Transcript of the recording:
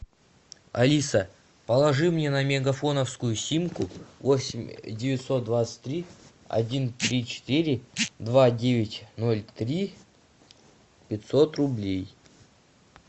алиса положи мне на мегафоновскую симку восемь девятьсот двадцать три один три четыре два девять ноль три пятьсот рублей